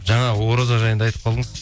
жаңа ораза жайында айтып қалдыңыз